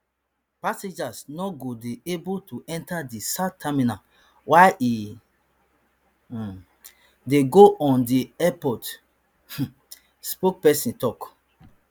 passengers no go dey able to enter di south terminal while e um dey go on di airport um spokesperson tok